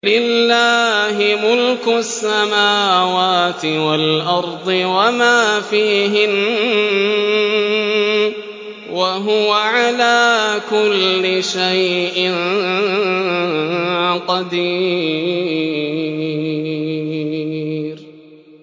لِلَّهِ مُلْكُ السَّمَاوَاتِ وَالْأَرْضِ وَمَا فِيهِنَّ ۚ وَهُوَ عَلَىٰ كُلِّ شَيْءٍ قَدِيرٌ